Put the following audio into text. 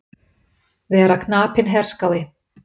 Vera knapinn herskái.